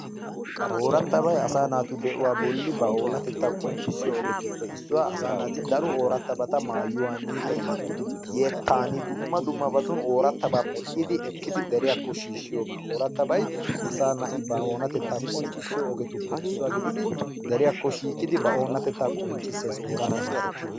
Ooratabay asa naatu de'uwa bolli ba oonatetta qonccissiyo ogetuppe issuwaa. Asaa naati daro ooratabata maayyuwan, yettan dumma dummabatun ooratabata medhdhidi ekkidi deriyako shiishshiyooga. Ooratabay asaa na'i ba oonatetta qonccissiyoobatuppe issuwa gididi deriyaakko shiiqidi ba oonatetatta qonccissees, oorataba ekkidi.